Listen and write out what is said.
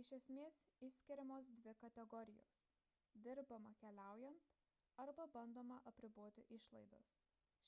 iš esmės išskiriamos dvi kategorijos dirbama keliaujant arba bandoma apriboti išlaidas